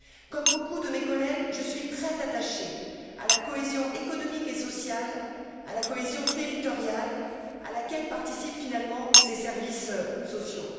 Comme beaucoup de mes collègues, je suis très attachée à la cohésion économique et sociale, à la cohésion territoriale, à laquelle participent, finalement, ces services postaux.